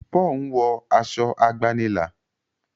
Paul nwo Aṣọ àgbànilà.